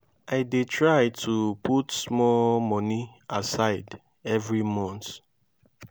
i dey try to put small money aside every month.